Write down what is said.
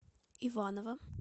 иваново